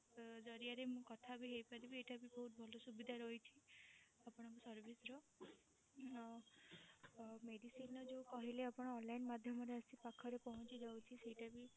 ଜରିଆରେ ମୁଁ କଥା ବି ହେଇପାରିବି ଏଇଟା ବି ବହୁତ ଭଲ ସୁବିଧା ରହିଛି ଆପଣଙ୍କ service ର ଅ ଅ medicine ର ଯୋଉ କହିଲେ ଆପଣ online ମାଧ୍ୟମରେ ଆସି ପାଖରେ ପହଞ୍ଚି ଯାଉଛି ସେଇଟା ବି